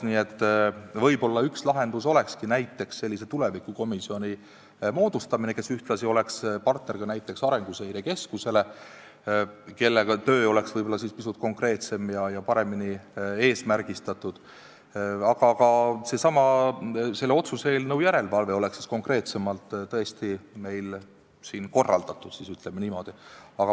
Võib-olla üks lahendus olekski sellise tulevikukomisjoni moodustamine, kes ühtlasi oleks partner Arenguseire Keskusele, kelle töö oleks siis pisut konkreetsem ja paremini eesmärgistatud, aga ka selle otsuse täitmise järelevalve oleks siin konkreetsemalt korraldatud, ütleme niimoodi.